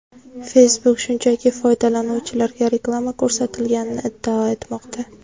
Facebook shunchaki foydalanuvchilarga reklama ko‘rsatilganini iddao etmoqda.